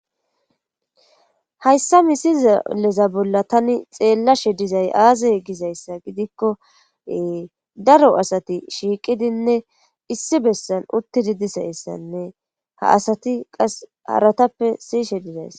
hayssa mi sizaleza bolla tani xeellashe dizay aazay gizayssa gidikkoee daro asati shiiqidinne issi bessan uttidi disayssanne ha asati qas haratappe siyishe dizayssa